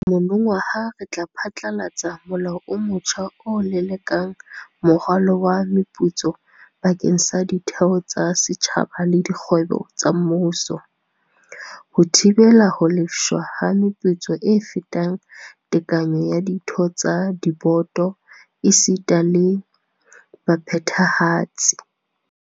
Monongwaha re tla phatlalatsa molao o motjha o lelekelang moralo wa meputso bakeng sa ditheo tsa setjhaba le dikgwebo tsa mmuso, ho thibela ho lefshwa ha meputso e fetang tekanyo ya ditho tsa diboto esita le baphethahatsi.